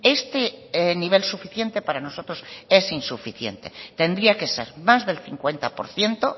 este nivel suficiente para nosotros es insuficiente tendría que ser más del cincuenta por ciento